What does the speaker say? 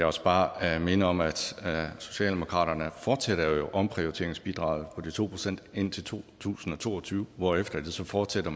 også bare minde om at socialdemokraterne fortsætter omprioriteringsbidraget på de to procent indtil to tusind og to og tyve hvorefter det så fortsætter